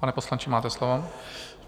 Pane poslanče, máte slovo.